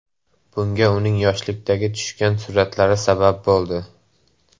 Bunga uning yoshlikda tushgan suratlari sabab bo‘ldi.